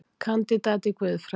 Kandídat í guðfræði